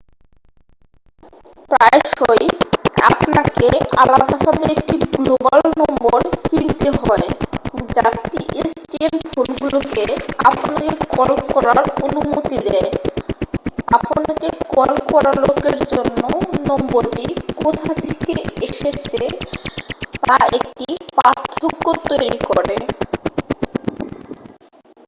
প্রায়শই আপনাকে আলাদাভাবে একটি গ্লোবাল নম্বর কিনতে হয় যা pstn ফোনগুলোকে আপনাকে কল করার অনুমতি দেয় আপনাকে কল করা লোকের জন্য নম্বরটি কোথা থেকে এসছে তা একটি পার্থক্য তৈরি করে